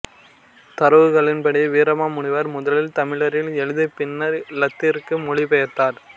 தரவுகளின்படி வீரமாமுனிவர் முதலில் தமிழில் எழுதிப் பின்னர் இலத்தீனிற்கு மொழிபெயர்த்தார்